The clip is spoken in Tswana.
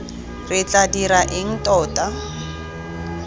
re tla dira eng tota